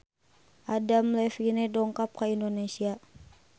Adam Levine dongkap ka Indonesia